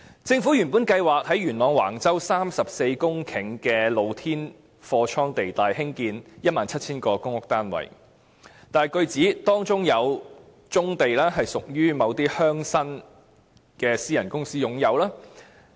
政府原計劃在元朗橫洲34公頃的露天貨倉地帶興建 17,000 個公屋單位，但據指，當中有棕地屬於某些鄉紳的私人公司擁有。